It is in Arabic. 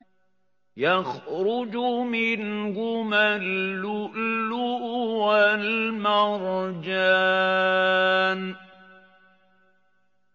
يَخْرُجُ مِنْهُمَا اللُّؤْلُؤُ وَالْمَرْجَانُ